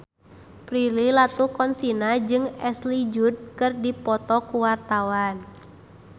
Prilly Latuconsina jeung Ashley Judd keur dipoto ku wartawan